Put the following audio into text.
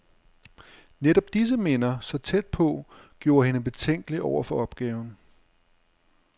Netop disse minder, så tæt på, gjorde hende betænkelig over for opgaven.